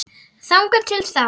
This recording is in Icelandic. Þangað til þá.